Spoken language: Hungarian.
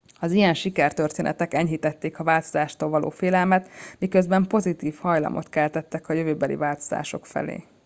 az ilyen sikertörténetek enyhítették a változástól való félelmet miközben pozitív hajlamot keltettek a jövőbeli változások felé